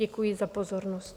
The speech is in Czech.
Děkuji za pozornost.